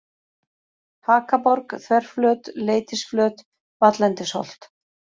Hakaborg, Þverflöt, Leitisflöt, Vallendisholt